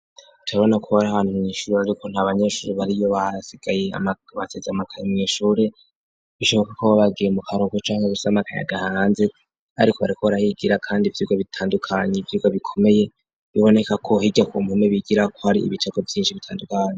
Tabona kubari ahana umwishuri, ariko nta banyeshuri bariyo baasigaye baseze amakana mwishure bishoboka ko babagiye mu karugo canke gusa makanya gahanze, ariko bariko barahigira, kandi ivyurwa bitandukanye ivyurwa bikomeye biboneka ko hirya ku muntu bigira ko hari ibicako vyinshi bitandukane.